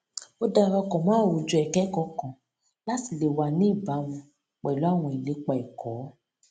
ó dara pò mó àwùjọ ìkékòó kan láti lè wà ní ìbámu pẹlú àwọn ìlépa ẹkọ